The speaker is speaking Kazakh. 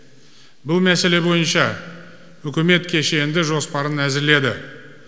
бұл мәселе бойынша үкімет кешенді жоспарын әзірледі